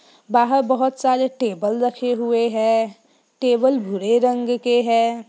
बाहर बहुत सारे टेबल रखे हुए हैं टेबल भूरे रंग के है।